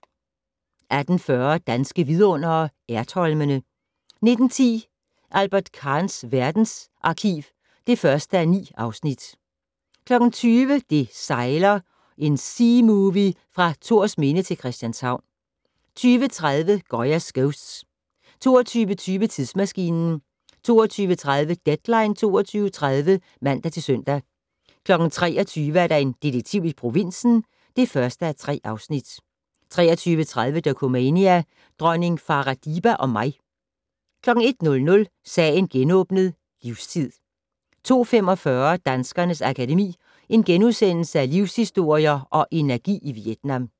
18:40: Danske Vidundere: Ertholmene 19:10: Albert Kahns verdensarkiv (1:9) 20:00: Det sejler - en seamovie fra Thorsminde til Christianshavn 20:30: Goya's Ghosts 22:20: Tidsmaskinen 22:30: Deadline 22.30 (man-søn) 23:00: En detektiv i provinsen (1:3) 23:30: Dokumania: Dronning Farah Diba og mig 01:00: Sagen genåbnet: Livstid 02:45: Danskernes Akademi: Livshistorier & Energi i Vietnam *